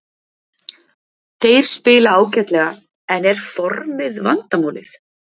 Þeir spila ágætlega en er formið vandamálið?